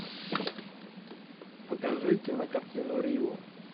покажи кинокартину рио